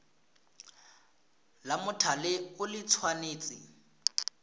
la mothale o le tshwanetse